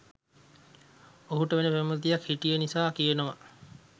ඔහුට වෙන පෙම්වතියක් හිටිය නිසා කියනවා?